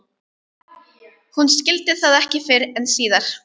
Hún skildi það ekki fyrr en síðar.